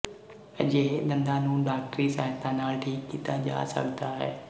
ਅਜਿਹੇ ਦੰਦਾਂ ਨੂੰ ਡਾਕਟਰੀ ਸਹਾਇਤਾ ਨਾਲ ਠੀਕ ਕੀਤਾ ਜਾ ਸਕਦਾ ਹੈ